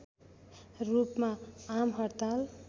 रूपमा आमहड्ताल